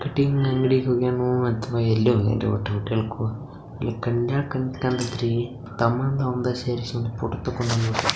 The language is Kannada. ಕಟಿಂಗ್ ಅಂಗಡಿಗೆ ಹೋಗ್ಯಾನೋ ಅಥವಾ ಎಲ್ಯೊಗ್ಯಾನ್ರೀ ನಿಂತ್ಕೊಂಡು ಫೋಟೋ --